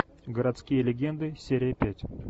городские легенды серия пять